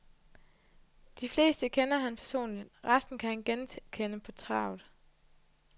De fleste kender han personligt, resten kan han genkende på travet.